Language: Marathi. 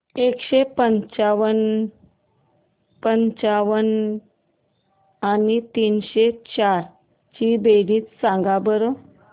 एकशे पंच्याण्णव आणि तीनशे चार ची बेरीज सांगा बरं